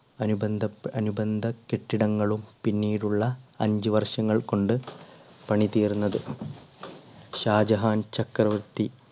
അനുബന്ധപ്പെ~അനുബന്ധ കെട്ടിടങ്ങളും പിന്നീടുള്ള അഞ്ചു വർഷങ്ങൾ കൊണ്ട് പണി തീർന്നത്. ഷാജഹാൻ ചക്രവർത്തി